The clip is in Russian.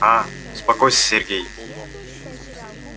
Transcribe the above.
а успокойся сергей